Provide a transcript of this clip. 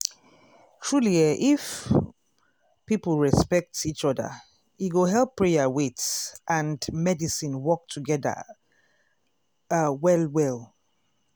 truely eeh if um people respect um each oda e go help prayer wait and medicine work togeda ah well well.